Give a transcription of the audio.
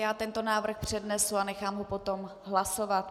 Já tento návrh přednesu a nechám ho potom hlasovat.